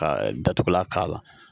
Ka datugulan k'a la